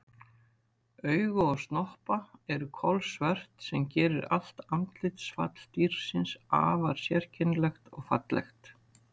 Augu og snoppa eru kolsvört sem gerir allt andlitsfall dýrsins afar sérkennilegt og fallegt.